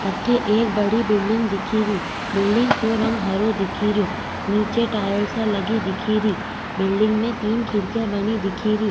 अठे एक बड़ी बिलडिंग दिखे री बिलडिंग को रंग हरो दिखे रियो नीचे टाइल्सा लगी दिखे री बिलडिंग में तीन खिड़किया बनी दिखे री।